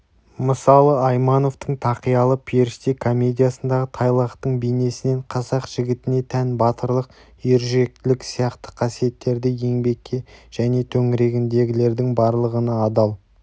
мысалы аймановтың тақиялы періште комедиясындағы тайлақтың бейнесінен қазақ жігітіне тән батырлық ержүректілік сияқты қасиеттерді еңбекке және төңірегіндегілердің барлығына адал